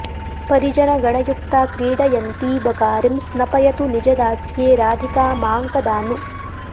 परिजनगणयुक्ता क्रीडयन्ती बकारिं स्नपयतु निजदास्ये राधिका मां कदा नु